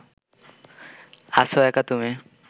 আছ একা তুমি